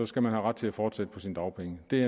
skal man have ret til at fortsætte på sine dagpenge det